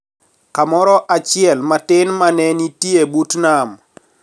Kamoro achiel matin ma ne nitie but nam